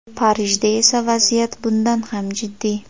Parijda esa vaziyat bundan ham jiddiy.